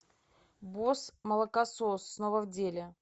босс молокосос снова в деле